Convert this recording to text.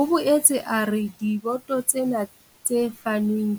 O boetse a re diboto tsena tse fanweng